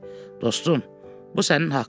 Dostum, bu sənin haqqındır.